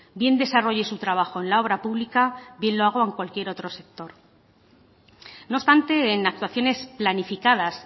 bien desarrolle su trabajo en la obra pública bien lo haga en cualquier otro sector no obstante en actuaciones planificadas